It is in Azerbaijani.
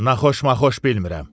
Naxxoş-maxxuş bilmirəm.